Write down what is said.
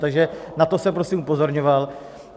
Takže na to jsem prosím upozorňoval.